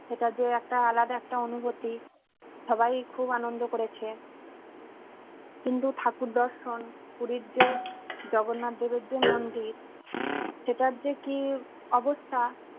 সেটা যে একটা আলাদা একটা অনুভূতি সবাই খুব আনন্দ করেছে। হিন্দু ঠাকুরদর্শন পুরীর যে জগন্নাথ দেবের যে মন্দির সেটার যে কি অবস্থা।